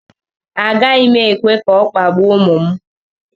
Agaghị m ekwe ka a kpagbuo ụmụ m